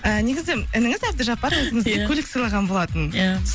ііі негізі ініңіз әбдіжапар өзіңізге ия көлік сыйлаған болатын ия